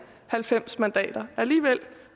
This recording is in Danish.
halvfems mandater alligevel